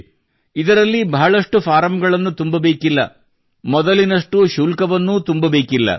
nano ಬಹಳಷ್ಟು form ಗಳನ್ನು ತುಂಬಬೇಕಿಲ್ಲ ಮೊದಲಿನಷ್ಟು ಶುಲ್ಕವನ್ನೂ ತುಂಬಬೇಕಿಲ್ಲ